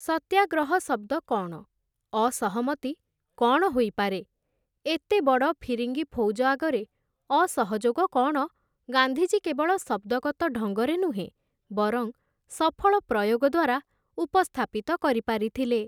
ସତ୍ୟାଗ୍ରହ ଶବ୍ଦ କ'ଣ ? ଅସହମତି କ'ଣ ହୋଇପାରେ ? ଏତେବଡ଼ ଫିରିଙ୍ଗି ଫୌଜ ଆଗରେ ଅସହଯୋଗ କ'ଣ, ଗାନ୍ଧିଜୀ କେବଳ ଶବ୍ଦଗତ ଢଙ୍ଗରେ ନୁହେଁ ବରଂ ସଫଳ ପ୍ରୟୋଗ ଦ୍ୱାରା ଉପସ୍ଥାପିତ କରିପାରିଥିଲେ ।